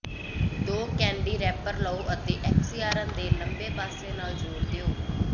ਦੋ candy wrapper ਲਵੋ ਅਤੇ ਐਕਸੀਆਰਨ ਦੇ ਲੰਬੇ ਪਾਸੇ ਨਾਲ ਜੋੜ ਦਿਓ